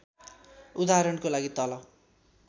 उदाहरणको लागि तल